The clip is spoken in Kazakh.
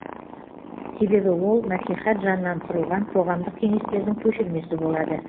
себебі ол мәслихат жанынан құрылған қоғамдық кеңестердің көшірмесі болады